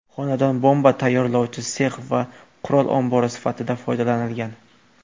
Xonadon bomba tayyorlovchi sex va qurol ombori sifatida foydalanilgan.